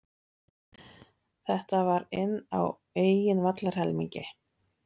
Þetta var inn á eigin vallarhelmingi.